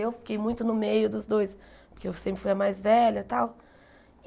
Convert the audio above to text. Eu fiquei muito no meio dos dois, porque eu sempre fui a mais velha tal.